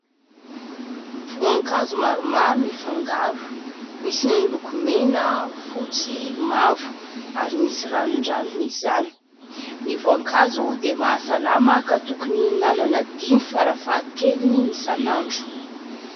Voankazo maromaro mifangaro misy ny loko mena, fotsy, mavo ary misy ranondranony izany. Ny voankazo dia mahasalama ka tokony hinanana dimy farafahakeliny isan'andro.